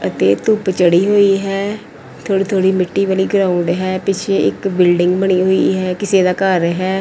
ਅਤੇ ਧੁੱਪ ਚੜ੍ਹੀ ਹੋਈ ਹੈ ਥੋੜੀ-ਥੋੜੀ ਮਿੱਟੀ ਵਾਲੀ ਗਰਾਊਂਡ ਹੈ ਪਿੱਛੇ ਇੱਕ ਬਿਲਡਿੰਗ ਬਣੀ ਹੋਈ ਹੈ ਕਿਸੇ ਦਾ ਘਰ ਹੈ।